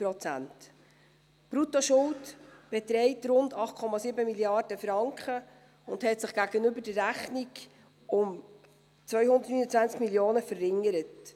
Die Bruttoschuld beträgt rund 8,7 Mrd. Franken und hat sich gegenüber der Rechnung um 229 Mio. Franken verringert.